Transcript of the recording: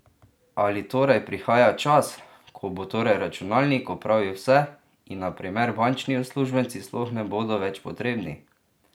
Ali torej prihaja čas, ko bo torej računalnik opravil vse, in na primer bančni uslužbenci sploh ne bodo več potrebni?